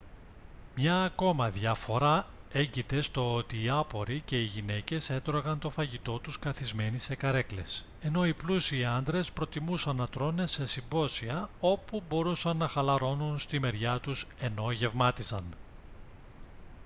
μια ακόμα διαφορά έγκειται στο ότι οι άποροι και οι γυναίκες έτρωγαν το φαγητό τους καθισμένοι σε καρέκλες ενώ οι πλούσιοι άντρες προτιμούσαν να τρώνε σε συμπόσια όπου μπορούσαν να χαλαρώνουν στη μεριά τους ενώ γευμάτιζαν